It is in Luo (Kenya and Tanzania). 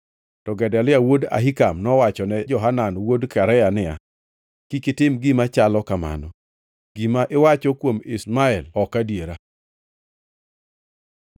To Gedalia wuod Ahikam nowachone Johanan wuod Karea niya, “Kik itim gima chalo kamano! Gima iwacho kuom Ishmael ok adiera.”